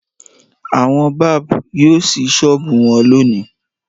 Àwọn báb yóò ṣí ṣọ́ọ́bù wọn lónìí.